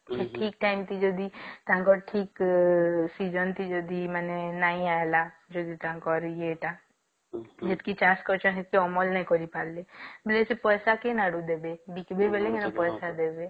ଠିକ୍ time ରେ ଯଦି ତାଙ୍କଟ ଠିକ୍ season ରେ ଯଦି ମାନେ ନାଇଁ ଆଇଲା ଯଦି ତାଙ୍କର ଇଏ ଟା ଯେତିକି ଚାଷ କରିଛନ୍ତି ସେତିକି ଅମଳ ନାଇଁ କରିପାରିଲେ ବୋଲେ ସେ ପଇସା କୋଉ ଆଡୁ ଆଣି ଦେବେ ବିକିବେ ବୋଲେ ପଇସା ଦେବେ